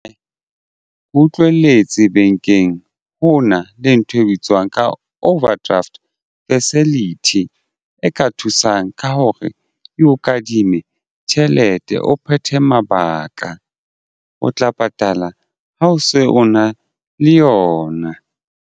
E utlweletse bankeng ho na le ntho e bitswang ka overdraft facility e ka thusang ka hore e o kadime tjhelete o phethe mabaka o tla patala ha o se o na le yona.